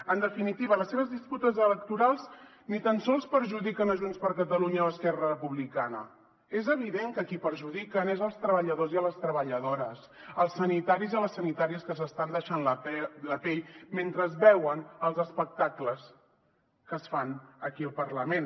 en definitiva les seves disputes electorals ni tan sols perjudiquen junts per catalunya o esquerra republicana és evident que a qui perjudiquen és els treballadors i les treballadores els sanitaris i les sanitàries que s’estan deixant la pell mentre veuen els espectacles que es fan aquí al parlament